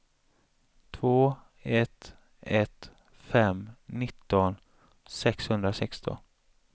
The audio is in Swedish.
två ett ett fem nitton sexhundrasexton